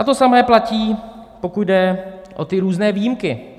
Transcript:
A to samé platí, pokud jde o ty různé výjimky.